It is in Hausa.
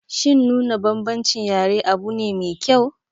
Shin nuna bambancin yare abune mai kyau?